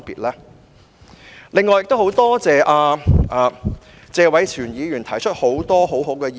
我很感謝謝偉銓議員提出了很多很好的意見。